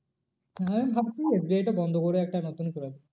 আমি ভাবছি SBI টা বন্ধ করে একটা নতুনই করাবো।